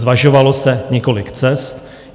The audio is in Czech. Zvažovalo se několik cest.